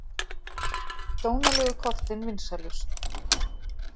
Dónalegu kortin vinsælust